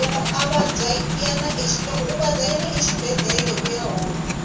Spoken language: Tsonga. loko u vabya yana exibedlhele uya hola